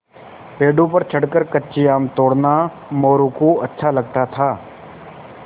पेड़ों पर चढ़कर कच्चे आम तोड़ना मोरू को अच्छा लगता था